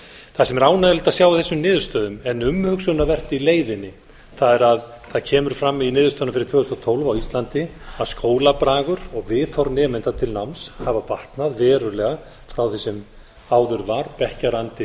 það sem er ánægjulegt að sjá í þessum niðurstöðum en umhugsunarvert í leiðinni það er að það kemur fram í niðurstöðunum fyrir tvö þúsund og tólf á íslandi að skólabragur og viðhorf nemenda til náms hafa batnað verulega frá því sem áður var bekkjarandi